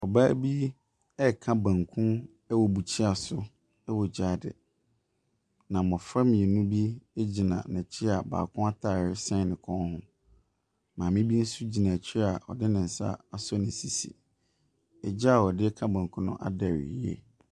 Ɔbaa bi ɛka banku ɛwɔ buhyea so ɛwɔ gyaade. Na mmɔfra mmienu bi egyina n'akyi a ataareɛ ɛsen ne kɔn ho. Maame bi nso gyina akyire a ɔdi nsa asɔ ne sisi. Ɛgya a ɔde ka banku no adɛre yiye.